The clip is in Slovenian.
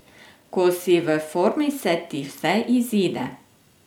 Ko si v formi, se ti vse izide.